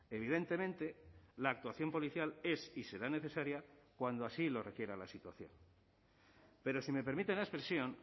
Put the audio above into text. evidentemente la actuación policial es y será necesaria cuando así lo requiera la situación pero si me permiten la expresión